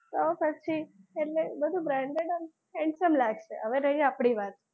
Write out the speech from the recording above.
તો પછી એટલે branded અને handsome લાગશે. હવે રહી આપડી વાત,